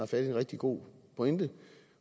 fat i en rigtig god pointe